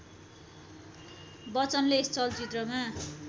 बच्चनले यस चलचित्रमा